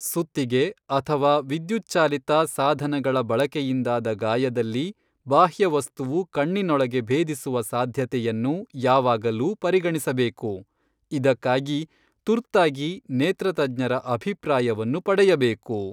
ಸುತ್ತಿಗೆ ಅಥವಾ ವಿದ್ಯುತ್ಚಾಲಿತ ಸಾಧನಗಳ ಬಳಕೆಯಿಂದಾದ ಗಾಯದಲ್ಲಿ ಬಾಹ್ಯವಸ್ತುವು ಕಣ್ಣಿನೊಳಗೆ ಭೇದಿಸುವ ಸಾಧ್ಯತೆಯನ್ನು ಯಾವಾಗಲೂ ಪರಿಗಣಿಸಬೇಕು, ಇದಕ್ಕಾಗಿ ತುರ್ತಾಗಿ ನೇತ್ರತಜ್ಞರ ಅಭಿಪ್ರಾಯವನ್ನು ಪಡೆಯಬೇಕು.